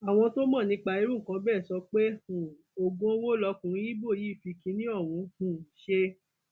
àwọn tó mọ nípa irú nǹkan bẹẹ sọ pé um oògùn owó lọkùnrin ibo yìí fi kínní ọhún um ṣe